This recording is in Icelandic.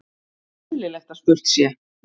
eðlilegt að spurt sé